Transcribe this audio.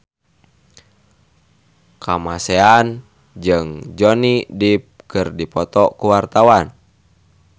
Kamasean jeung Johnny Depp keur dipoto ku wartawan